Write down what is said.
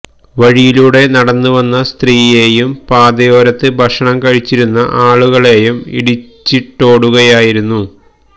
വഴിയിലൂടെ നടന്നു വന്ന സ്ത്രീയേയും പാതയോരത്ത് ഭക്ഷണം കഴിച്ചിരുന്ന ആളുകളേയും ഇടിച്ചിടുകയായിരുന്നു